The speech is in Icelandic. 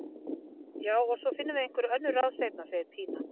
Já, og svo finnum við einhver önnur ráð seinna, segir Pína.